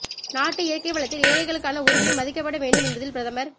நாட்டு இயற்கை வளத்தில் ஏழைகளுக்கான உரிமை மதிக்கப்பட வேண்டும் என்பதில் பிரதமர்